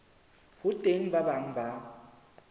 ho teng ba bang ba